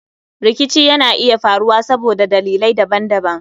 Rikici Yana iya faruwa saboda dalilai daban-daban.